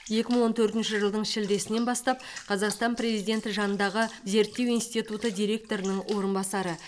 екі мың он төртінші жылдың шілдесінен бастап қазақстан президенті жанындағы зерттеу институты директорының орынбасары